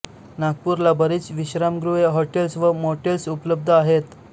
नागपूरला बरीच विश्रामगृहे हॉटेल्स व मोटेल्स उपलब्ध आहेत